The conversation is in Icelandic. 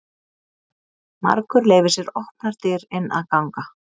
Margur leyfir sér opnar dyr inn að ganga.